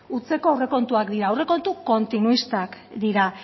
hutseko aurrekontuak dira aurrekontu kontinuistak dira